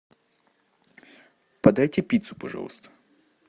подайте пиццу пожалуйста